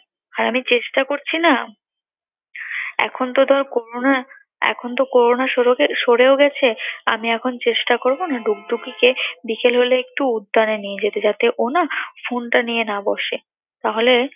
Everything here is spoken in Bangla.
আর আমি চেষ্টা করছি না। এখন তো ধর করোনা এখন তো করোনা সরেও গে~ সরেও গেছে, আমি এখন চেষ্টা করব না ডুগডুগিকে বিকেলে হলে একটু উদ্যানে নিয়ে যেতে যাতে ও না phone টা নিয়ে না বসে। তাহলে